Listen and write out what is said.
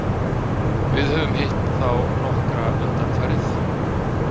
Við höfum hitt á þá nokkra undanfarið.